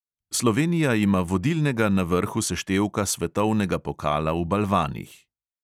Slovenija ima vodilnega na vrhu seštevka svetovnega pokala v balvanih.